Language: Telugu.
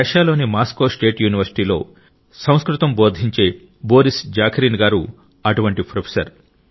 రష్యాలోని మాస్కో స్టేట్ యూనివర్సిటీలో సంస్కృతం బోధించే బోరిస్ జాఖరిన్ గారు అటువంటి ప్రొఫెసర్